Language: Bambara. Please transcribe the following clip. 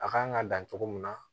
A kan ka dan cogo min na